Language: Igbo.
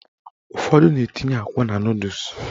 Ụfọdụ na-etinye akwa na nọdụs